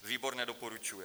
Výbor nedoporučuje.